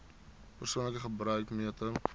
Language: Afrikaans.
persoonlike gebruik meter